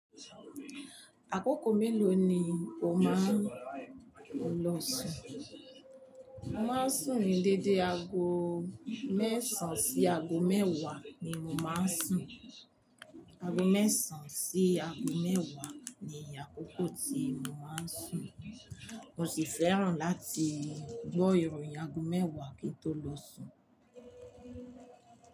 Àkókò mélòó ni o máa ń lo sùn? Mo máa ń sùn ní dédé ago mẹ́sàn-án sí ago mẹ́wàá ni mo máa ń sùn. Ago mẹ́sàn-án sí ago mẹ́wàá ni àkókò tí mo máa ń sùn, mo sì fẹ́ràn láti gbó irun ní ago mẹ́wàá kí n tó lo sùn.